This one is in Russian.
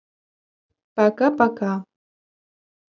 пока пока